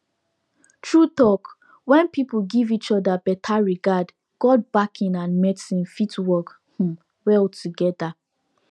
true talk when people give each other better regard god backing and medicine fit work um well together